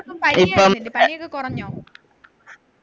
എല്ലാർക്കും പനിയൊക്കെ അല്ലെ പനിയൊക്കെ കുറഞ്ഞോ